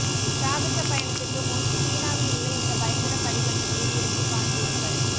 சாகச பயணத்திற்கு முன் சீனாவில் உள்ள இந்த பயங்கர படிக்கட்டுகளில் இறங்கிக் காண்பியுங்கள்